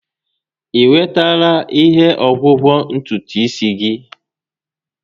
I nwetala ihe ọgwụgwọ ntutu isi gị?